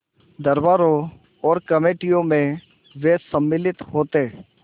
दरबारों और कमेटियों में वे सम्मिलित होते